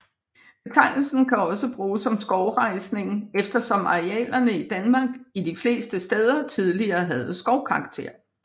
Betegnelsen kan også bruges om skovrejsning eftersom arealerne i Danmark de fleste steder tidligere havde skovkarakter